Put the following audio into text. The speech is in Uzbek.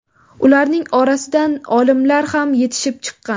Ularning orasidan olimalar ham yetishib chiqqan.